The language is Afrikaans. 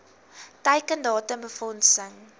teiken datum befondsing